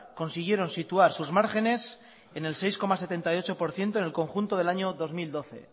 consiguieron situar sus márgenes en el seis coma setenta y ocho por ciento en el conjunto del año dos mil doce